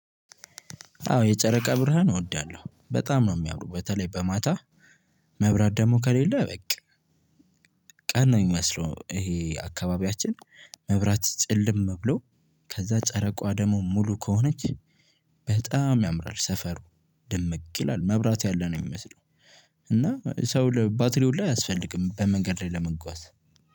አዎ የጨረቃ ብርሃን እወዳለሁ በጣም ነው የሚያምረው በተለይ በማታ። መብራት ደግሞ ከሌለው በቃ ቀን ነው የሚመስለው። ይሄ አካባቢያችን መብራት ጭልም ብሎ። ከዛ ጨረቃ ደሞ ሙሉ ከሆነች በጣም ያምራል ሰፈሩ ድምቅ ይላል መብራት ያለ ነው የሚመስለው። እና ሰው ባትሪ ሁሉ አያስፈልግም በመንገድ ላይ ለመጓዝ